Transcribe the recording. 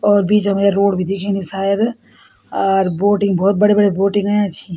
और बीचम या रोड भी दिखेणी शायद अर बोटिंग भोत बढ़िया बढ़िया बोटिंग अयां छिं।